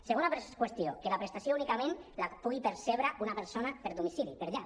segona qüestió que la prestació únicament la pugui percebre una persona per domicili per llar